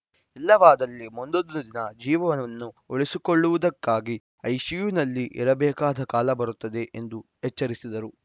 ಇಲ್ಲವಾದಲ್ಲಿ ಮುಂದೊಂದು ದಿನ ಜೀವವನ್ನು ಉಳಿಸಿಕೊಳ್ಳುವುದಕ್ಕಾಗಿ ಐಸಿಯುನಲ್ಲಿ ಇರಬೇಕಾದ ಕಾಲಬರುತ್ತದೆ ಎಂದು ಎಚ್ಚರಿಸಿದರು